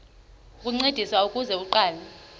ukuncediswa ukuze aqale